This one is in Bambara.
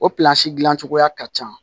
O dilan cogoya ka ca